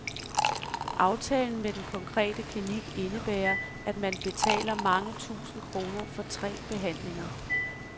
Aftalen med den konkrete klinik indebærer, at man betaler mange tusind kroner for tre behandlinger.